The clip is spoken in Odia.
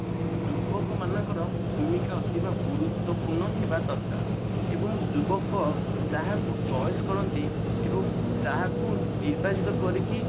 ଯୁବକ ମାନଙ୍କର ଭୂମିକା ଅଧିକ ଗୁରୁତ୍ବପୂର୍ଣ ହେବା ଦରକାର ଏବଂ ଯୁବକ ଯାହାକୁ choice କରନ୍ତି ଏବଂ ଯାହାକୁ ନିର୍ବାଚିତ କରିକି